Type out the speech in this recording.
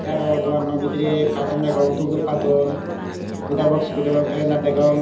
te aro dogana no bidire carton degong dup dup carton mitar box ekko degong calender degong.